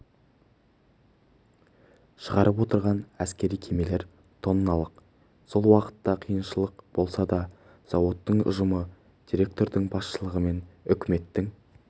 шығарып отырған әскери кемелер тонналық сол уақытта қиыншылық болса да зауыттың ұжымы директордың басшысылығымен үкіметтің